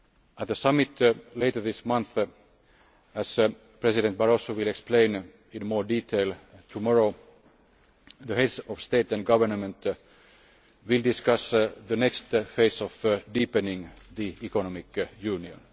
At the summit later this month as President Barroso will explain in more detail tomorrow the Heads of State or Government will discuss the next phase of deepening the economic union.